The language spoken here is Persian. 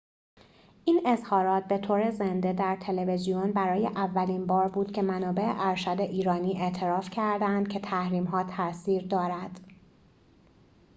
این اظهارات به طور زنده در تلویزیون برای اولین بار بود که منابع ارشد ایرانی اعتراف کرده اند که تحریم ها تأثیر دارد